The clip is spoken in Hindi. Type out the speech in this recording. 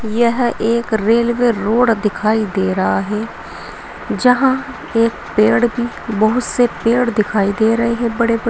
यह एक रेलवे रोड दिखाई दे रहा है जहां एक पेड़ भी बहुत से पेड़ दिखाई दे रहे हैं बड़े बड़े।